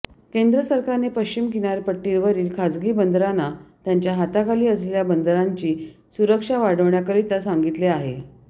केंद्र सरकारने पश्चिम किनारपट्टीवरील खाजगी बंदरांना त्यांच्या हाताखाली असलेल्या बंदरांची सुरक्षा वाढवण्याकरिता सांगितले आहे